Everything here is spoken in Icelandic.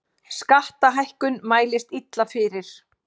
Skattahækkun mælist illa fyrir